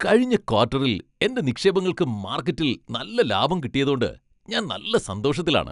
കഴിഞ്ഞ ക്വാട്ടറിൽ എന്റെ നിക്ഷേപങ്ങൾക്ക് മാർക്കറ്റിൽ നല്ല ലാഭം കിട്ടിയതോണ്ട് ഞാൻ നല്ല സന്തോഷത്തിലാണ്.